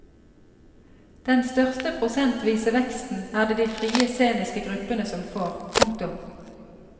Den største prosentvise veksten er det de frie sceniske gruppene som får. punktum